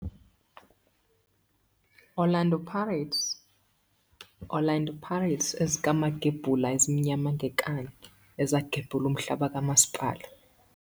Orlando Pirates, Orlando Pirates, ezikaMagebhula ezimnyama ngenkani, ezagebhula umhlaba kamasipala.